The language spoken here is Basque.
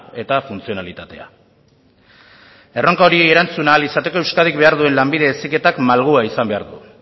eta funtzionalitatea erronka horri erantzun ahal izateko euskadik behar duen lanbide heziketak malgua izan behar du